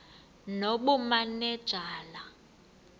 nobumanejala